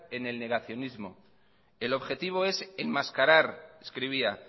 en el negacionismo el objetivo es enmascarar escribía